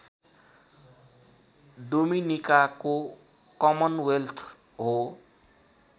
डोमिनिकाको Commonwealth हो